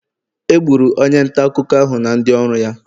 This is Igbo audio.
Egburu onye nta akụkọ ahụ na ndị ọrụ ya.